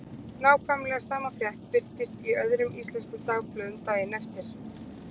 Nákvæmlega sama frétt birtist í öðrum íslenskum dagblöðum daginn eftir.